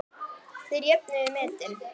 Þeir jöfnuðu metin.